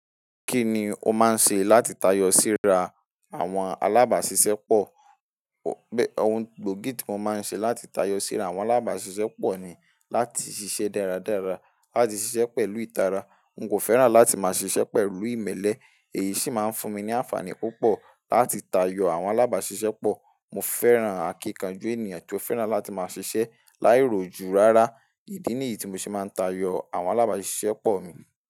Kí ni o máa ń ṣe láti tayọ síra àwọn alábàáṣiṣẹ́ pọ̀? Òun gbòógì tí mo máa ń ṣe láti tayọ síra àwọn alábáṣiṣẹ́pọ̀ ni láti ṣiṣẹ́ dáradára, láti ṣiṣẹ́ pẹ̀lú ìtara. N kò fẹ́ràn láti máa ṣiṣẹ́ pẹ̀lú ìmẹ́lẹ́, èyí sì máa ń fún mi ní àǹfààní púpọ̀ láti tayọ àwọn alábáṣiṣẹ́ pọ̀. Mo fẹ́ràn àkíkànjú ènìyàn tí ó fẹ́ràn láti máa ṣiṣẹ́ láìrojú rárá. Ìdí nìyí tí mo ṣe máa ń tayọ àwọn alábáṣiṣẹ́pọ̀ mi.